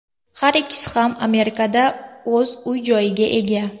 Har ikkisi ham Amerikada o‘z uy-joyiga ega.